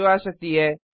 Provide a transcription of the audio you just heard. जो आ सकती है